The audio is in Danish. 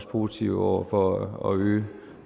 positive over for at øge